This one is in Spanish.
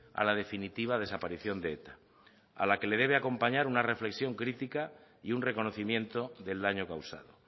a la definitiva desaparición de eta a la que le debe acompañar una reflexión crítica y un reconocimiento del daño causado